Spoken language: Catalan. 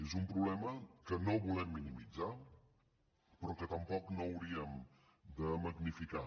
és un problema que no volem minimitzar però que tampoc no hauríem de magnificar